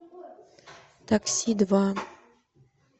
такси два